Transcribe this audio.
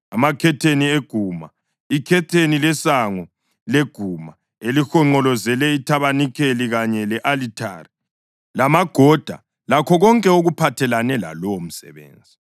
amakhetheni eguma, ikhetheni lesango leguma elihonqolozele ithabanikeli kanye le-alithari, lamagoda, lakho konke okuphathelane lalowo msebenzi.